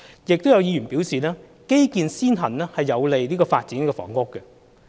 亦有議員表示，基建先行有利發展房屋。